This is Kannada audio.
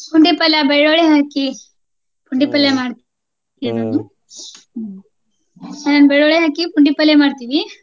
ಪುಂಡಿ ಪಲ್ಯಾ ಬೆಳ್ಳುಳ್ಳಿ ಹಾಕಿ ಪುಂಡಿ ಪಲ್ಯಾ ಮಾಡ್ತೀವಿ ಏನ ಅದು ಹ್ಮ ಬೆಳ್ಳುಳ್ಳಿ ಹಾಕಿ ಪುಂಡಿ ಪಲ್ಲೆ ಮಾಡ್ತೀವಿ.